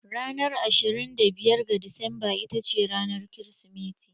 Ranar ashirin da biyar ga Disamba ita ce ranar Kirsimeti.